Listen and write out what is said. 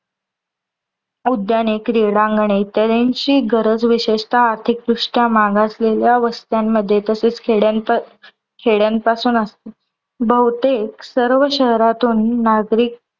उद्याने, क्रीडांगणे इत्यादीची गरज विशेषतः आर्थिक दृष्ट्या मागासलेल्या वस्त्यांमध्ये तसेच खेड्यांत खेड्यानपासून असते. बहुतेक सर्व शहरातून नागरिक